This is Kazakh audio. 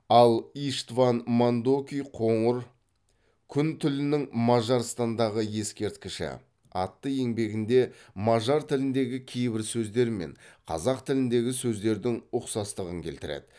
ал иштван мандоки қоңыр күн тілінің мажарстандағы ескерткіші атты еңбегінде мажар тіліндегі кейбір сөздер мен қазақ тіліндегі сөздердің ұқсастығын келтіреді